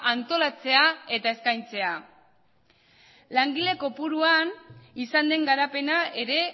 antolatzea eta eskaintzea langile kopuruan izan den garapena ere